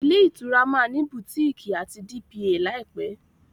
Ilé-ìtura ma ní Butikii àti dpá láìpé.